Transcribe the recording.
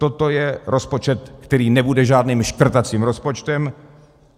Toto je rozpočet, který nebude žádným škrtacím rozpočtem.